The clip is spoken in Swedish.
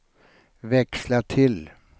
växla till